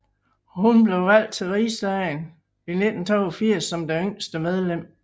Hun blev valgt til Riksdagen i 1982 som det yngste medlem